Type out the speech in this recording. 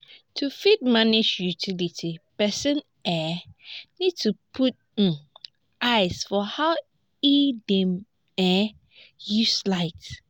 to fit manage utility person um need to put um eye for how im dey um use light